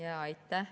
Aitäh!